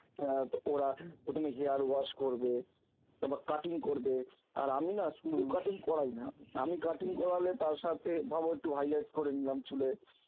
অ্যাঁ ওরা প্রথমে hair wash করবে তারপর cutting করবে, আর আমি না শুধু cutting করাই না, আমি cutting করালে তার সাথে ভাবো একটু highlights করে নিলাম চুলে